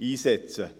einsetzen.